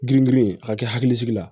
Girin girin a ka kɛ hakilisigi la